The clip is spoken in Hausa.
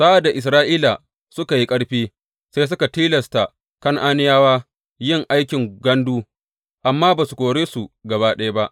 Sa’ad da Isra’ila ta yi ƙarfi, sai suka tilasta Kan’aniyawa yin aikin gandu amma ba su kore su gaba ɗaya ba.